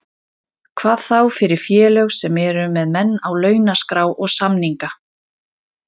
Hvað þá fyrir félög sem eru með menn á launaskrá og samninga.